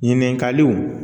Ɲininkaliw